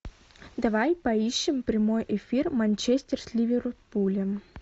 давай поищем прямой эфир манчестер с ливерпулем